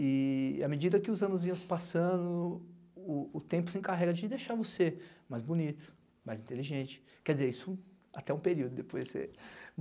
E e à medida que os anos vinham se passando, o o tempo se encarrega de deixar você mais bonito, mais inteligente, quer dizer, isso até um período depois você